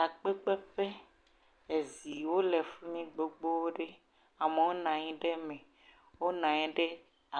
Takpekpeƒe, eziwo le fi mi gbogbo ɖe, amewo nɔ anyi ɖe eme, wonɔ anyi ɖe